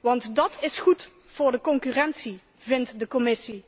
Want dat is goed voor de concurrentie, vindt de Commissie.